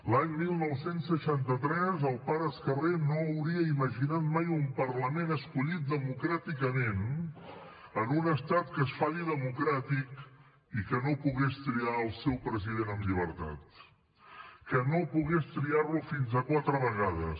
l’any dinou seixanta tres el pare escarré no hauria imaginat mai un parlament escollit democràticament en un estat que es fa dir democràtic i que no pogués triar el seu president amb llibertat que no pogués triar lo fins a quatre vegades